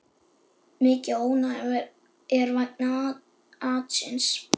Mikið ónæði er vegna atsins.